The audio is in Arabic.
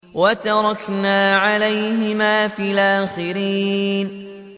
وَتَرَكْنَا عَلَيْهِمَا فِي الْآخِرِينَ